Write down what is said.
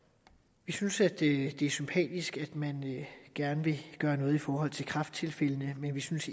vi synes det er sympatisk at man gerne vil gøre noget i forhold til kræfttilfældene men vi synes